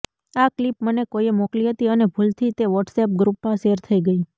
આ ક્લિપ મને કોઈએ મોકલી હતી અને ભૂલથી તે વોટ્સએપ ગ્રુપમાં શેર થઈ ગઈ